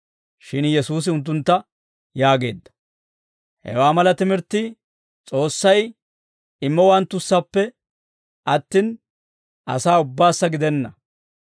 Shin Yesuusi unttuntta yaageedda; «Hewaa mala timirttii S'oossay immowanttussappe attin, asaa ubbaassa gidenna;